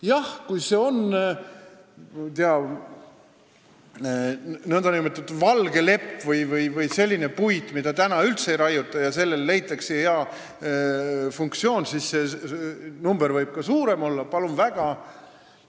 Jah, kui see on nn valge lepp või selline puit, mida praegu üldse ei raiuta, ja sellele leitakse hea funktsioon, siis see maht võib ka suurem olla – palun väga!